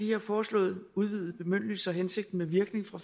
her foreslåede udvidede bemyndigelser hensigten med virkning fra